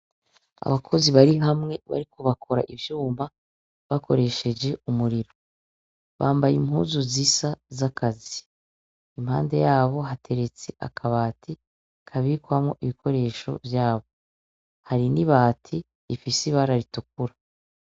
Abakozi bari hamwe bariko bakora ivyuma ,bakoresheje umuriro. Bambaye impuzu zisa z'akazi. Impande yabo hateretse akabati kabikwamwo ibikoresho vyabo, hari n'ibati rifise ibara ritukura.